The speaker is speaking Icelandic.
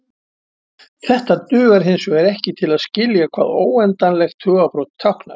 Þetta dugar hinsvegar ekki til að skilja hvað óendanlegt tugabrot táknar.